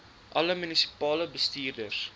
alle munisipale bestuurders